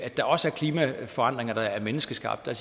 der også er klimaforandringer der er menneskeskabte